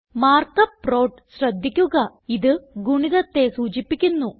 mark up പ്രോഡ് ശ്രദ്ധിക്കുക ഇത് ഗുണിതത്തെ സൂചിപ്പിക്കുന്നു